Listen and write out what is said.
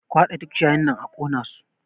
Ku haɗa duk ciyayin nan a ƙona su!